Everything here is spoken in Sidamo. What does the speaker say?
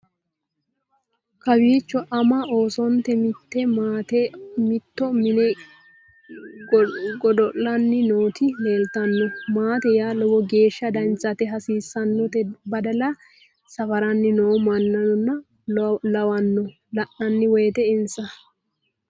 kowiicho ama oosonte mitte maate mitoo mine godo'lanni nooti leeltanno maate yaa lowo geeshsha danchate hasiissannote badala safaranni noo mannano lawanno la'nanni woyte insa